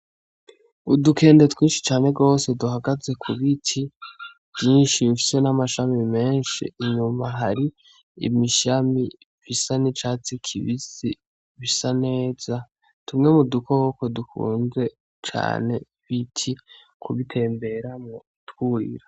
Udukende twinshi cane gwose duhagaze kubiti vyinshi bifise n'amashami menshi inyuma hari imashami bisa n'icatsi kibisi bisaneza tumwe mudukoko dukunze cane ibiti kubitemberamwo twurira.